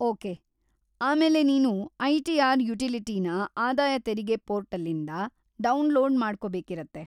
Okay, ಆಮೇಲೆ ನೀನು ITR. ಯುಟಿಲಿಟಿನ ಆದಾಯ ತೆರಿಗೆ ಪೋರ್ಟಲ್ಲಿಂದ ಡೌನ್ಲೋಡ್ ಮಾಡ್ಕೊಬೇಕಿರತ್ತೆ.